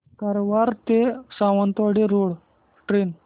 कारवार ते Sawantwadi road train